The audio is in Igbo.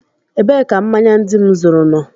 Ebee ka mmanya ndị m zuru nọ?